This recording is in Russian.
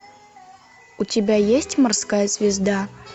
у тебя есть морская звезда